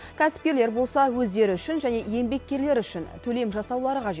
кәсіпкерлер болса өздері үшін және еңбеккерлері үшін төлем жасаулары қажет